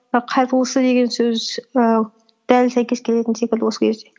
қайырлысы деген сөз і дәл сәйкес келетін секілді осы кезде